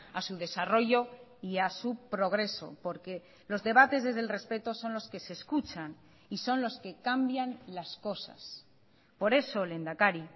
a su desarrollo y a su progreso porque los debates desde el respeto son los que se escuchan y son los que cambian las cosas por eso lehendakari